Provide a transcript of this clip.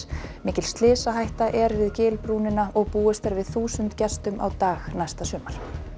mikil slysahætta er við gilbrúnina og búist er við þúsund gestum á dag næsta sumar